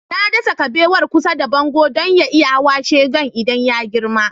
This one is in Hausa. Na dasa kabewar kusa da bango don ya iya hawa shingen idan ya girma